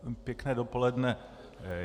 Pěkné dopoledne.